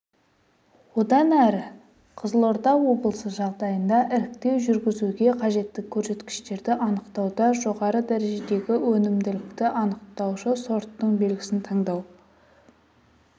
одан әрі қызылорда облысы жағдайында іріктеу жүргізуге қажетті көрсеткіштерді анықтауда жоғары дәрежедегі өнімділікті анықтаушы сорттың белгісін таңдау